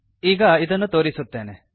ಈಗ ಇದನ್ನು ತೊರಿಸುತ್ತೇನೆ